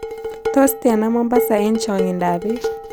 Tos' tiana mombasa eng' chang'indoap biik